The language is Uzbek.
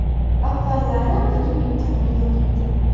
Avvallari buning imkoni yo‘q edi.